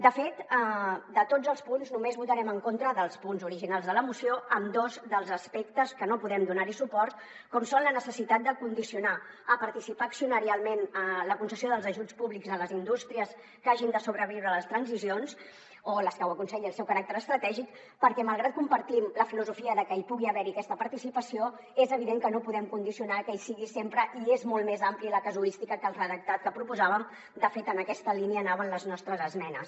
de fet de tots els punts només votarem en contra dels punts originals de la moció en dos dels aspectes que no podem donar suport com són la necessitat de condicionar a participar accionarialment en la concessió dels ajuts públics a les indústries que hagin de sobreviure a les transicions o les que ho aconselli el seu caràcter estratègic perquè malgrat que compartim la filosofia de que pugui haver hi aquesta participació és evident que no podem condicionar a que hi sigui sempre i és molt més àmplia la casuística que el redactat que proposàvem de fet en aquesta línia anaven les nostres esmenes